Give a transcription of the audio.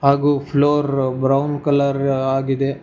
ಹಾಗು floor brown colour ಆಗಿದೆ.